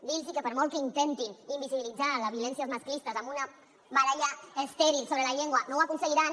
dir los que per molt que intentin invisibilitzar les violències masclistes amb una baralla estèril sobre la llengua no ho aconseguiran